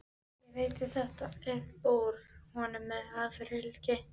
Ég veiddi þetta upp úr honum með harðfylgi.